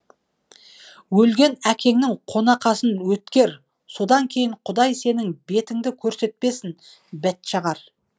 өлген әкеңнің қонақасын өткер содан кейін құдай сенің бетіңді көрсетпесін бәтшағар